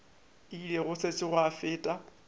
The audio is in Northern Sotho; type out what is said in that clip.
ile go sešo gwa feta